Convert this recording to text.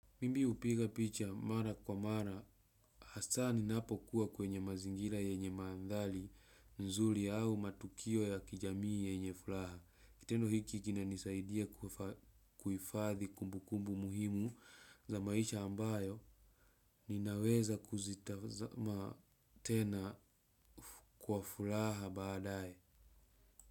Mimbi hupiga picha mara kwa mara hasaa ninapokuwa kwenye mazingira yenye maadhari nzuri au matukio ya kijamii yenye furaha. Kitendo hiki kinanisaidia kuhifadhi kumbukumbu muhimu za maisha ambayo ninaweza kuzitazama tena kwa furaha baadae.